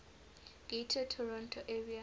greater toronto area